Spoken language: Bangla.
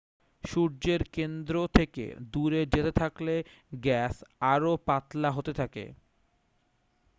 সূর্যের কেন্দ্র থেকে দূরে যেতে থাকলে গ্যাস আরও পাতলা হতে থাকে